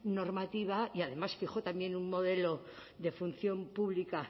normativa y además fijó también un modelo de función pública